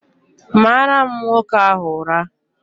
Gbara m nwoke ahu ura!